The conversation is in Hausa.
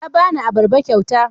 Ya ba ni abarba kyauta.